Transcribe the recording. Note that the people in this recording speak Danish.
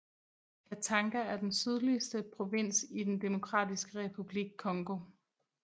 Katanga er den sydligste provins i den Demokratiske Republik Congo